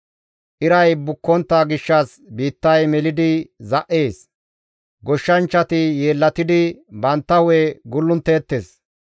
Iray bukkontta gishshas biittay melidi za7ees. Goshshanchchati yeellatidi bantta hu7e gulluntteettes.